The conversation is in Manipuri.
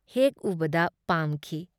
ꯍꯦꯛ ꯎꯕꯗ ꯄꯥꯝꯈꯤ ꯫